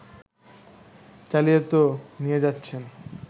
চালিয়ে তো নিয়ে যাচ্ছেন